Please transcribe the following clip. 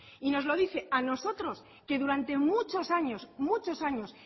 y nos lo dice a nosotros que durante muchos años muchos años